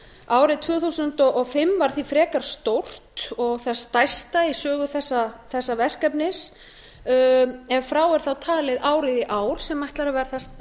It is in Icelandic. árið tvö þúsund og fimm var því frekar stórt og það stærsta í sögu þessa verkefnis ef frá er þá talið árið í ár sem ætlar að